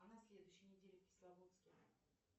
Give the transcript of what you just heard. а на следующей неделе в кисловодске